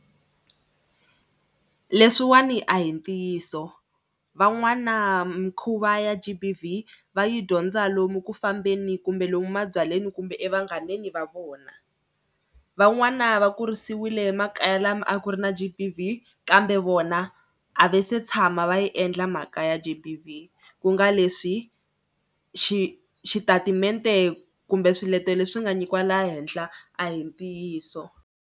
Leswiwani a hi ntiyiso van'wana mikhuva ya G_B_V va yi dyondza lomu ku fambeni kumbe lomu mabyaleni kumbe evanghaneni va vona. Van'wani va kurisiwile makaya lama a ku ri na G_B_V kambe vona a va se tshama va yi endla mhaka ya G_B_V ku nga leswi xi xitatimende kumbe swiletelo leswi nga nyikiwa laha henhla a hi ntiyiso.